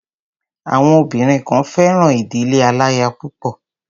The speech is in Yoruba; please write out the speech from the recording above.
Àwọn obìnrin kan fẹ́ràn ìdílé aláya púpọ̀.